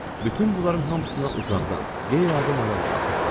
Bütün bunların hamısına uzaqdan qeyri-adi maraqla baxırdı.